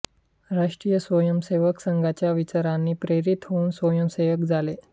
राष्ट्रीय स्वयंसेवक संघाच्या विचारांनी प्रेरित होऊन स्वयंसेवक झाले